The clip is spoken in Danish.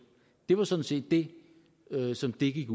det var sådan set det som det gik